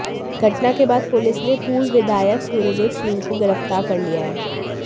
घटना के बाद पुलिस ने पूर्व विधायक सूर्यदेव सिंह को गिरफ्तार कर लिया है